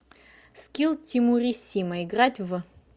скилл тимуриссимо играть в